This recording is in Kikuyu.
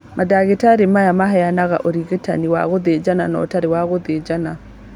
Mandagĩtarĩ maya maheanaga ũrigitani wa gũthĩnjana na ũtarĩ wa gũthĩnjana